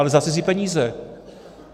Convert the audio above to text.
Ale za cizí peníze.